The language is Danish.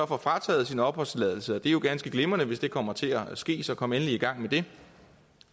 får frataget sin opholdstilladelse det er jo ganske glimrende hvis det kommer til at ske så kom endelig i gang med det